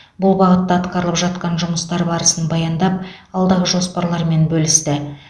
бұл бағытта атқарылып жатқан жұмыстар барысын баяндап алдағы жоспарлармен бөлісті